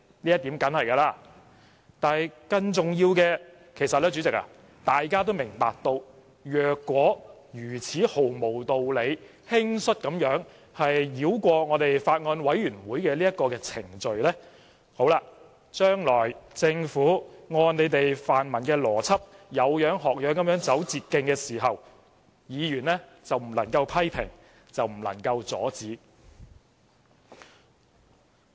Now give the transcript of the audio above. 不過，主席，更重要的是，大家也明白，假使如此毫無道理、輕率地繞過立法會法案委員會的程序，將來政府按泛民議員的邏輯，"有樣學樣，走捷徑"時，議員便不能批評和阻止。